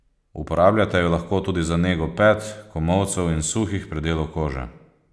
Uporabljate jo lahko tudi za nego pet, komolcev in suhih predelov kože.